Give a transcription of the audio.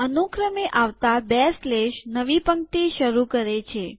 અનુક્રમે આવતા બે સ્લેશ નવી પંક્તિ શરુ કરે છે